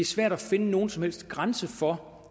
svært at finde nogen som helst grænse for